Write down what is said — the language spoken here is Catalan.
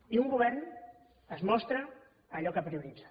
i un govern es mostra en allò que prioritza